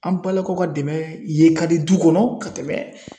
An balakaw ka dɛmɛ ye ka di du kɔnɔ ka tɛmɛn